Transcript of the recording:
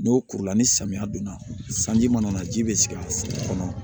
N'o kurula ni samiya donna sanji mana na ji bɛ sigi a sigɛrɛ kɔnɔ